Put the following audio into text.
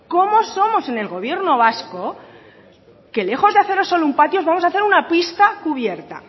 cómo somos en el gobierno vasco que lejos de haceros solo un patio os vamos a hacer una pista cubierta